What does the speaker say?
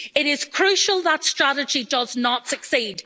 It is crucial that strategy does not succeed.